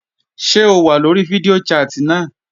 Ṣé o wà lórí fídíò chat náà?